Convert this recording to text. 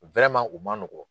u ma nɔgɔ.